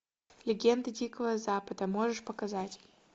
легенды дикого запада можешь показать